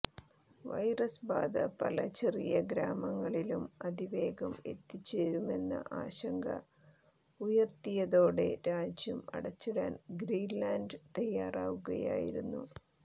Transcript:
virus ബാധ പല ചെറിയ ഗ്രാമങ്ങളിലും അതിവേഗം എത്തിച്ചേരുമെന്ന ആശങ്ക ഉയർത്തിയതോടെ രാജ്യം അടച്ചിടാൻ ഗ്രീൻലാൻഡ് തയ്യാറാകുകയായിരുന്നു